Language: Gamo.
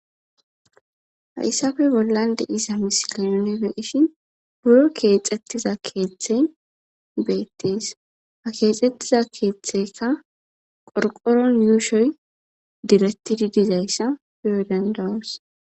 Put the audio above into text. Hayssappe bollan de7iza misile nuni be7ishin buro keexettiza keethey beettees. Ha keexettiza keetheyka qoriqoron yuushoy direttidi dizaysa beyo danda7oos.